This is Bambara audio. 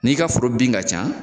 N'i ka foro bin ka ca